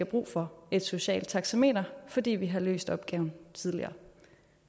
brug for et socialt taxameter fordi vi har løst opgaven tidligere